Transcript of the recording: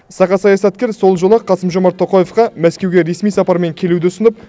сақа саясаткер сол жолы ақ қасым жомарт тоқаевқа мәскеуге ресми сапармен келуді ұсынып